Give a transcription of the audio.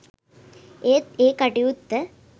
ඒත් ඒ කටයුත්ත